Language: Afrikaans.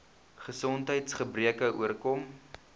gesondheids gebreke oorkom